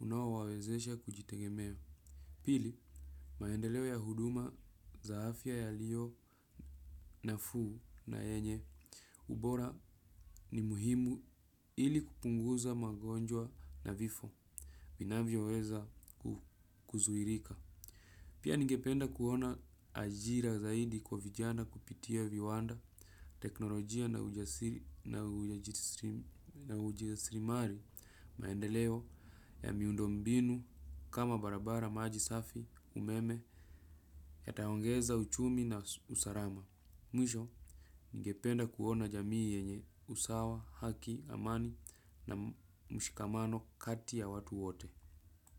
unaowawezesha kujitegemea. Pili, maendeleo ya huduma za afya yaliyo nafuu na yenye. Ubora ni muhimu ili kupunguza magonjwa na vifo. Vinavyoweza kuzuilika. Pia ningependa kuona ajira zaidi kwa vijana kupitia viwanda teknolojia na ujasiri na ujasirimali maendeleo ya miundombinu kama barabara maji safi umeme yataongeza uchumi na usalama. Mwisho ningependa kuona jamii yenye usawa, haki, amani na mshikamano kati ya watu wote.